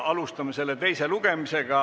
Alustame selle teist lugemist.